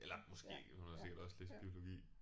Eller måske hun har sikkert også læst biologi